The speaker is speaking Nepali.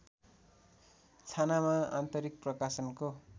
छानामा आन्तरिक प्रकाशको